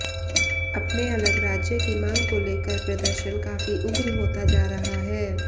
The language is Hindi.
अपने अलग राज्य की मांग को लेकर प्रदर्शन काफी उग्र होता जा रहा है